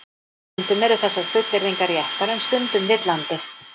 Stundum eru þessar fullyrðingar réttar en stundum villandi.